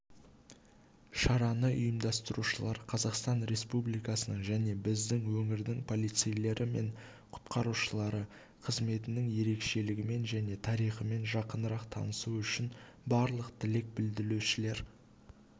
шараны ұйымдастырушылар қазақстан республикасының және біздің өңірдің полицейлері мен құтқарушылары қызметінің ерекшелігімен және тарихымен жақынырақ танысу үшін барлық тілек білдірушілерді